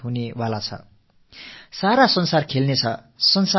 அனைத்துலகத்தினரும் விளையாட்டுக்களில் ஈடுபடுவார்கள்